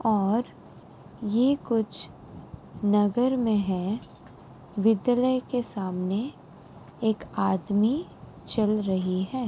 और यह कुछ नगर में है। विद्यलय के सामने एक आदमी चल रहे हैं।